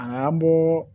An bɔ